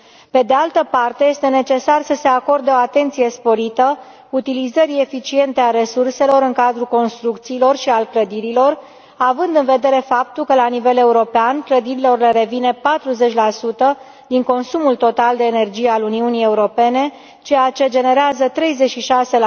Pe de altă parte, este necesar să se acorde o atenție sporită utilizării eficiente a resurselor în cadrul construcțiilor și al clădirilor, având în vedere faptul că, la nivel european, clădirilor le revine 40 din consumul total de energie al Uniunii Europene, ceea ce generează 36